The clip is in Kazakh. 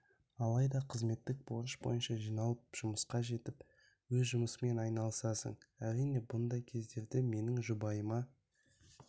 алайда қызметтік борыш бойынша жиналып жұмысқа жетіп өз жұмысыңмен айналысасың әрине бұндай кездерде менің жұбайыма